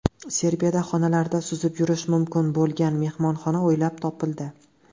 Serbiyada xonalarida suzib yurish mumkin bo‘lgan mehmonxona o‘ylab topildi .